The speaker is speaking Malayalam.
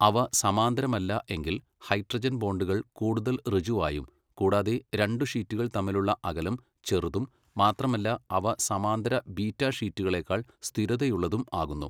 അവ സമാന്തരമല്ല എങ്കിൽ ഹൈഡ്രജൻ ബോണ്ടുകൾ കൂടുതൽ ഋജുവായും കൂടാതെ രണ്ടു ഷീറ്റുകൾ തമ്മിലുള്ള അകലം ചെറുതും മാത്രമല്ല അവ സമാന്തര ബീറ്റ ഷീറ്റുകളെക്കാൾ സ്ഥിരതയുള്ളതും ആകുന്നു.